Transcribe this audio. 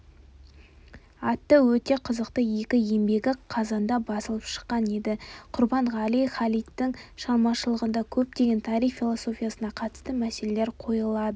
атты өте қызықты екі еңбегі қазанда басылып шыққан еді құрбанғали халидтің шығармашылығында көптеген тарих философиясына қатысты мәселелер қойылады